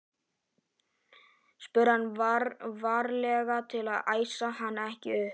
spurði hann, varlega til að æsa hana ekki upp.